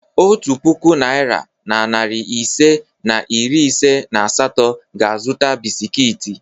Otu puku naịra na narị ise na iri ise na asatọ ga-azụta bisikiiti.